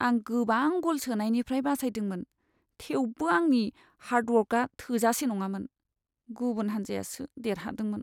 आं गोबां गल सोनायनिफ्राय बासायदोंमोन, थेवबो आंनि हार्ड वर्कआ थोजासे नङामोन, गुबुन हान्जायासो देरहादोंमोन।